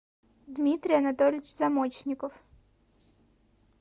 дмитрий анатольевич замочников